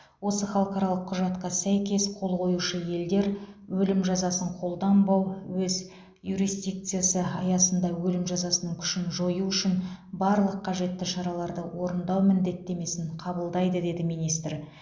осы халықаралық құжатқа сәйкес қол қоюшы елдер өлім жазасын қолданбау өз юрисдикциясы аясында өлім жазасының күшін жою үшін барлық қажетті шараларды орындау міндеттемесін қабылдайды деді министр